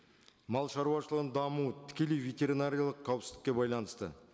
мал шаруашылығының дамуы тікелей ветеринариялық қауіпсіздікке байланысты